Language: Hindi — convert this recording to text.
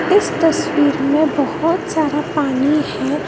इस तस्वीर में बहोत सारा पानी है।